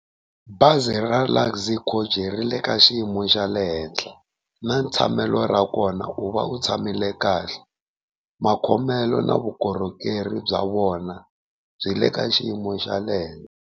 Bazi ra Luxy Coach ri le ka xiyimo xa le henhla na ntshamelo ra kona u va u tshamile kahle, makhomelo na vukorhokeri bya vona byi le ka xiyimo xa le henhla.